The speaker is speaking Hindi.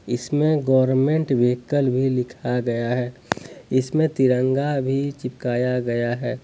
इसमें गवर्मेंट व्हीकल भी लिखा हुआ हैइसमें तिरंगा भी चिपकाया गया है।